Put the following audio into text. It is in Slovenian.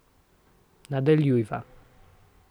Nadaljujva.